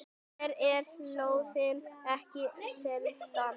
Hér eru lóðir ekki seldar.